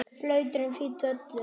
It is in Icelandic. Blautur en fínn völlur.